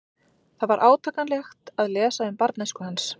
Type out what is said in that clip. Það var átakanlegt að lesa um barnæsku hans.